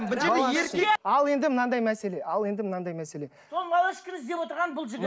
ал енді мынадай мәселе ал енді мынадай мәселе сол малышканы іздеп отырған бұл жігіт